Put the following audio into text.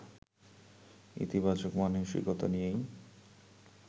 ইতিবাচক মানসিকতা নিয়েই